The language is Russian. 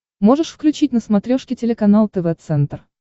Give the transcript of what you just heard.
можешь включить на смотрешке телеканал тв центр